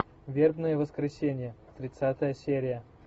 вербное воскресенье тридцатая серия